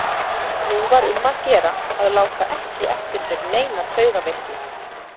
Nú var um að gera að láta ekki eftir sér neina taugaveiklun.